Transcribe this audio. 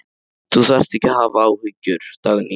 Þú þarft ekki að hafa áhyggjur, Dagný.